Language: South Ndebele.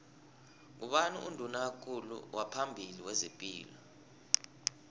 ngubani unduna kulu waphambili wezepilo